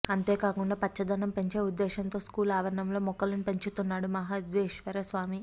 అంతేకాకుండా పచ్చదనం పెంచే ఉద్దేశంతో స్కూల్ ఆవరణలో మొక్కలను పెంచుతున్నాడు మహదేశ్వరస్వామి